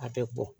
A bɛ bɔn